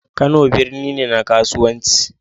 Kano birni ne na kasuwanci.